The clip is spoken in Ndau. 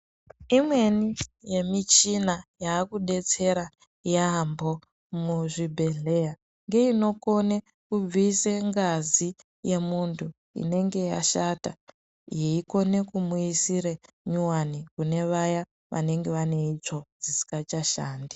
Imweni yemichina yaakudetsera yaambo muzvibhedhleya ngeyinokona kubvisa ngazi yemunthu inenge yashata yeikona kumuisira nyowani kune vaya vanenge vane itsvo dzisingachashandi.